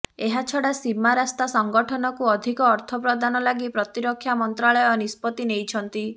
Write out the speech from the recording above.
ଏହାଛଡା ସୀମା ରାସ୍ତା ସଂଗଠନକୁ ଅଧିକ ଅର୍ଥ ପ୍ରଦାନ ଲାଗି ପ୍ରତିରକ୍ଷା ମନ୍ତ୍ରାଳୟ ନିଷ୍ପତ୍ତି ନେଇଛନ୍ତି